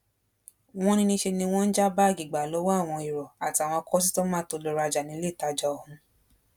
Wọ́n ní níṣẹ ni wọ́n ń já báàgì gbà lọ́wọ́ àwọn èrò àtàwọn kọsítọmà tó lọọ rajà níléetajà ọ̀hún